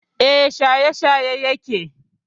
E, shaye-shaye yake.